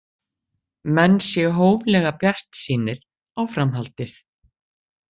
Menn séu hóflega bjartsýnir á framhaldið